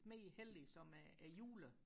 mere hellig end julen